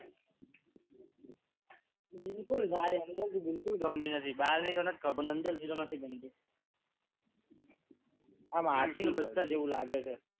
બિલકુલ ગાડી અંદરથી બિલકુલ ગમતી નથી બહાર નીકળતો માર્ગમાં પથ્થર જેવું લાગે છે